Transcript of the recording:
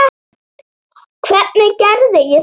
Hvernig gerði ég það?